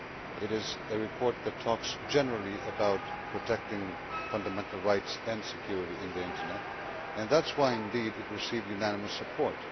it is a report that talks generally about protecting fundamental rights and security on the Internet and, indeed, that is why it received unanimous support.